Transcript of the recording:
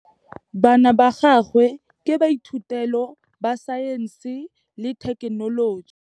Bana ba gagwe ke baithutêlô ba Saense le Thekenoloji.